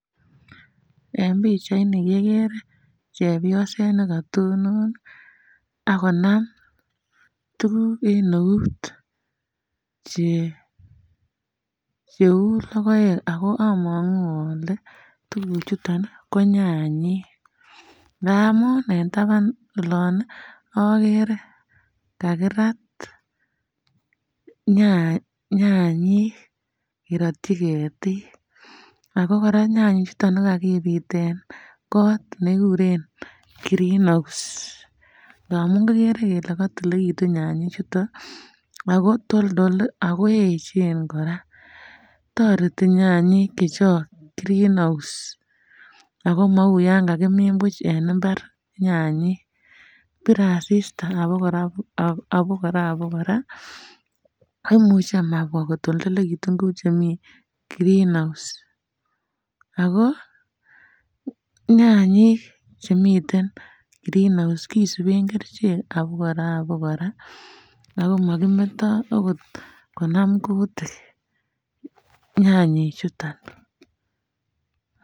En pichain kegere nekatonon agonam tuguk en ouut che cheu logoek amangu ale tuguk chuton ko nyanyik amun en taban ole agere kagirat nyaa nyanyik ngerityi ketik ago koraa nyanyik chuton kokakibuten kot ne kikuren green house tamun kigere kele kotililekitun nyanyik chuton ago toldol ,ago echen koraa, toreti nyanyik chechong green house ago mou Yankakimin buch en imbar nyanyik biire asista abokoraa um abokoraa imuche komabwa kotoldokitun kou chemii green house ago nyanyik chemiten green house kisuben kerichek abokoraa abokoraa ago makimeto okot konam kutik nyanyik chuton.